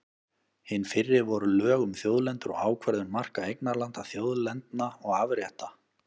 Hin fyrri voru lög um þjóðlendur og ákvörðun marka eignarlanda, þjóðlendna og afrétta.